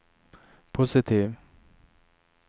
positiv